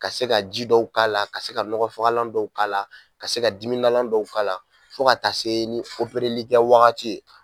Ka se ka ji dɔw k'a la, ka se ka nɔgɔfagalan dɔw k'a la, ka se ka dimidalan dɔw k'a la, fo ka taa se ni opereli kɛ wagati ye.